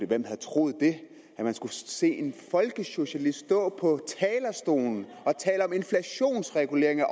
hvem havde troet det at man skulle se en folkesocialist stå på talerstolen og inflationsregulering af